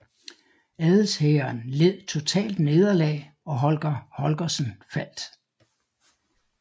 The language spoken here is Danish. Adelshæren led totalt nederlag og Holger Holgersen faldt